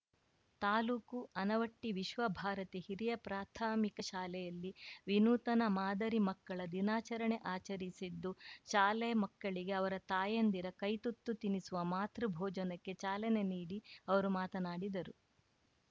ತಾಲೂಕು ಆನವಟ್ಟಿವಿಶ್ವಭಾರತಿ ಹಿರಿಯ ಪ್ರಾಥಮಿಕ ಶಾಲೆಯಲ್ಲಿ ವಿನೂತನ ಮಾದರಿ ಮಕ್ಕಳ ದಿನಾಚರಣೆ ಆಚರಿಸಿದ್ದು ಶಾಲೆ ಮಕ್ಕಳಿಗೆ ಅವರ ತಾಯಂದಿರ ಕೈ ತುತ್ತು ತಿನಿಸುವ ಮಾತೃಭೋಜನಕ್ಕೆ ಚಾಲನೆ ನೀಡಿ ಅವರು ಮಾತನಾಡಿದರು